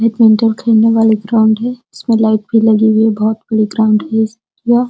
Badminton खेलने वाली ground है। इसमें लाइट भी लगी हुई है। बहोत प्लेग्राउंड है। यह--